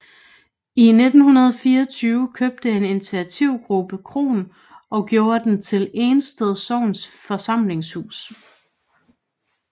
I 1924 købte en initiativgruppe kroen og gjorde den til Ensted Sogns Forsamlingshus